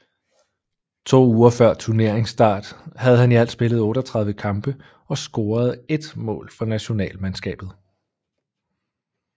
To uger før turneringsstart havde han i alt spillet 38 kampe og scoret 1 mål for nationalmandskabet